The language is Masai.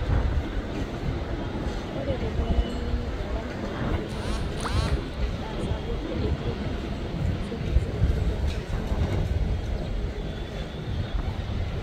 ore te kenya neuni te 1.1 million ha neitau endaa sapuk e 0.76 million tons neyau iropiyiani naabaya imillionini ntomoni ile